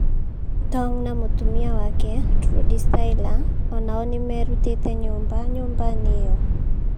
Tong na mũtumia wake, Trudie Styler, o nao nĩ merutĩte nyũmba nyũmba-inĩ ĩyo.